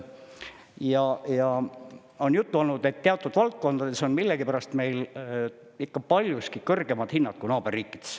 Ja on juttu olnud, et teatud valdkondades on millegipärast meil ikka paljuski kõrgemad hinnad kui naaberriikides.